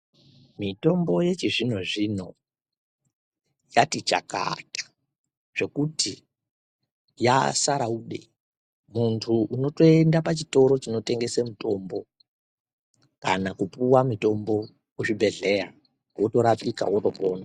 Mitombo yechizvino zvino yatichakata zvekuti yasaraude muntu unotoenda pachitoro chinotengesa mutombo kana kupuwa mutombo muzvibhedhlera wotorapika wotopona.